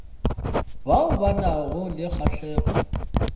bao ba nago le kgahlego